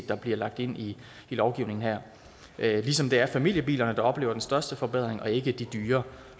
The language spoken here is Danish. der bliver lagt ind i lovgivningen her ligesom det er familiebilerne der oplever den største forbedring og ikke de dyre